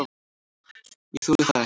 """Ég þoli það ekki,"""